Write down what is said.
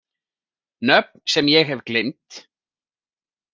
Nöfn sem ég hef gleymt.